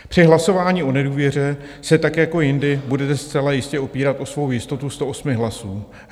Při hlasování o nedůvěře se tak jako jindy budete zcela jistě opírat o svou jistotu 108 hlasů.